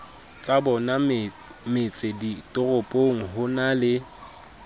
tsabona metseditoropong ho na le